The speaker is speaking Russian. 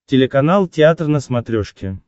телеканал театр на смотрешке